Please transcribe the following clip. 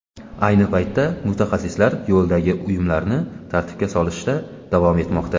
Ayni paytda mutaxassislar yo‘ldagi uyumlarni tartibga solishda davom etmoqda.